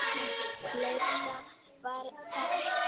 . fleira var það ekki.